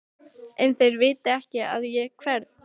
En þeir vita ekki að ég hverf.